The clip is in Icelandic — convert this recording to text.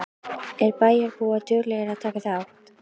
Eru bæjarbúar duglegir að taka þátt?